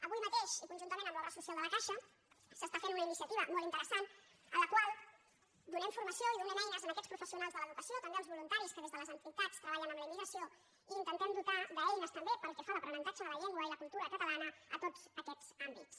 avui mateix i conjuntament amb l’obra social de la caixa s’està fent una iniciativa molt interessant en la qual donem formació i donem eines a aquests professionals de l’educació també als voluntaris que des de les entitats treballen amb la immigració i intentem dotar d’eines també pel que fa a l’aprenentatge de la llengua i la cultura catalana a tots aquests àmbits